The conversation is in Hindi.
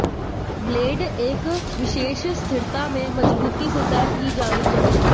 ब्लेड एक विशेष स्थिरता में मजबूती से तय की जानी चाहिए